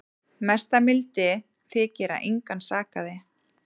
Mesta mildi þykir að engan sakaði